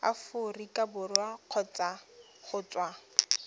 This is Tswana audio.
aforika borwa kgotsa go tswa